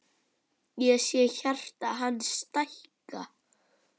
Ég sé hjarta hans stækka.